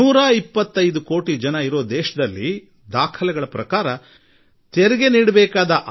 ನಿಮ್ಮಲ್ಲಿ ಯಾರೂ ಈ ಸಂಗತಿಯ ಬಗ್ಗೆ ನಂಬಿಕೆ ತೋರುವುದಿಲ್ಲ